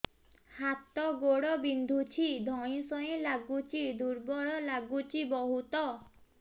ହାତ ଗୋଡ ବିନ୍ଧୁଛି ଧଇଁସଇଁ ଲାଗୁଚି ଦୁର୍ବଳ ଲାଗୁଚି ବହୁତ